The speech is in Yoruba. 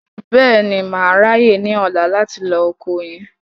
Bẹ́ẹ̀ni, mà á ráyè ní ọ̀la láti lọ oko oyin